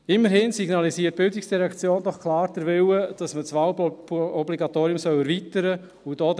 Immerhin signalisiert die Bildungsdirektion doch klar den Willen, dass man das Wahlobligatorium erweitern soll.